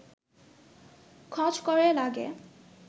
খচ করে লাগে